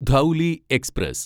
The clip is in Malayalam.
ധൌലി എക്സ്പ്രസ്